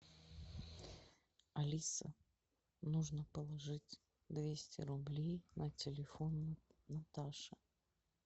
алиса нужно положить двести рублей на телефон наташа